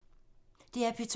DR P2